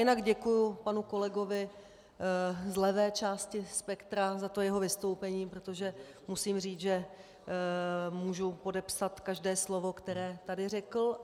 Jinak děkuji panu kolegovi z levé části spektra za to jeho vystoupení, protože musím říct, že můžu podepsat každé slovo, které tady řekl.